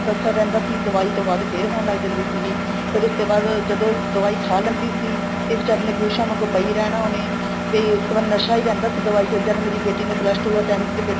ਤੱਕ ਅਸਰ ਰਹਿੰਦਾ ਸੀ ਦਵਾਈ ਤੋ ਬਾਅਦ ਫ਼ੇਰ ਹੋਣ ਲੱਗ ਜਾਂਦੀ ਸੀਗੀ ਫ਼ੇਰ ਉਸ ਤੇ ਬਾਅਦ ਜਦੋਂ ਦਵਾਈ ਖਾਹ ਲੈਂਦੀ ਸੀ ਤੇ ਬੀਚਾਰੀ ਨੇ ਬਿਹੋਸ਼ਾ ਵਾਂਗੋ ਪਈ ਰਹਿਣਾ ਉਹਨੇ ਤੇ ਉਸ ਤੋ ਬਾਅਦ ਨਸਾਂ ਹੀ ਰਹਿੰਦਾ ਸੀ ਦਵਾਈ ਚ ਜਦ ਮੇਰੀ ਬੇਟੀ ਨੇ plus two or tenth ਦੇ paper